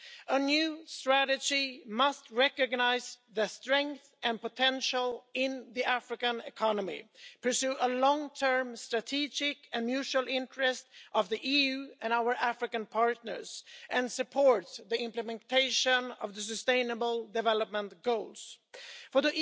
A new strategy must recognise the strength and potential in the African economy, pursue the long term strategic and mutual interests of the EU and our African partners, and support the implementation of the Sustainable Development Goals For